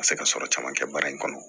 Ka se ka sɔrɔ caman kɛ baara in kɔnɔ